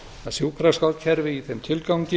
að sjúkraskrárkerfi í þeim tilgangi